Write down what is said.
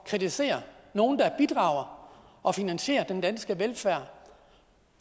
kritisere nogen der bidrager og finansierer den danske velfærd